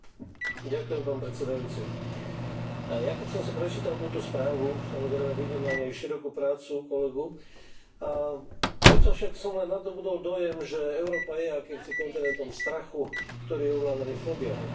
Vážený pán predsedajúci, aj ja keď som si prečítal túto správu, samozrejme, vidím na nej širokú prácu kolegu a predsa však som len nadobudol dojem, že Európa je akýmsi kontinentom strachu, ktorý je ovládaný fóbiami.